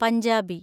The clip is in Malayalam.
പഞ്ചാബി